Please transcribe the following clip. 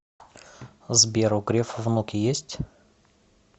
сбер у грефа внуки есть